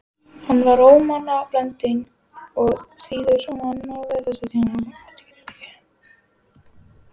Hann var ómannblendinn og óþýður á manninn við fyrstu kynni.